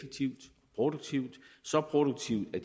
produktivt så produktivt at